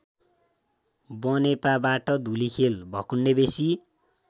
बनेपाबाट Dhulikhel Bhakundebesi